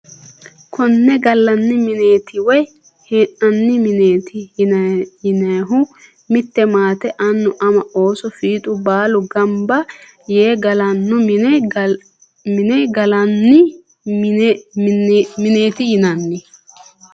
Konne galani mineeti woyi hee`nani mineeti yinanihu mitte maate anu ama ooso fiixu baalu ganba yee galano mine galani mineeti yinani.